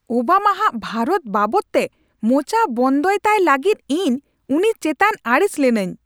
ᱳᱵᱟᱢᱟᱼᱟᱜ ᱵᱷᱟᱨᱚᱛ ᱵᱟᱵᱚᱫᱛᱮ ᱢᱚᱪᱟ ᱵᱚᱱᱫᱚᱭ ᱛᱟᱭ ᱞᱟᱹᱜᱤᱫ ᱤᱧ ᱩᱱᱤ ᱪᱮᱛᱟᱱ ᱟᱹᱲᱤᱥ ᱞᱤᱱᱟᱹᱧ ᱾